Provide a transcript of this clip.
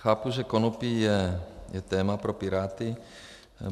Chápu, že konopí je téma pro Piráty.